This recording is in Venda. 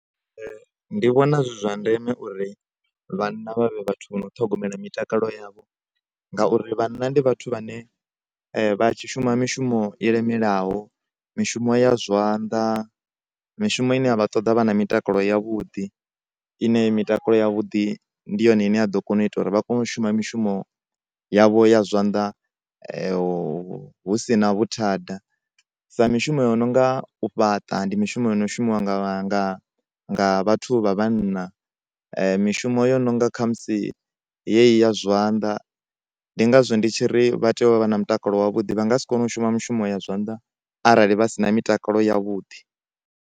Ndi vhona zwi zwa ndeme uri vhanna vha vhe vhathu vha no ṱhogomela mitakalo yavho ngauri vhanna ndi vhathu vhane vha tshi shuma mishumo i lemelaho mishumo ya zwanḓa, mishumo ine ya vha ṱoḓa vha na mitakalo ya vhuḓi ine mitakalo ya vhuḓi ndi yone ine ya ḓo kona u ita uri vha kone u shuma mishumo yavho ya zwanḓa hu si na vhuthada sa mishumo yo no nga u fhaṱa ndi mishumo ino shumiwa nga, nga, nga vhathu vha vhanna , mishumo yo no nga khamusi ye yi ya zwanḓa ndi ngazwo ndi tshiri vha tea u vha na mutakalo wa vhuḓi vha nga si kone u shuma mishumo ya zwanḓa arali vha si na mitakalo ya vhuḓi.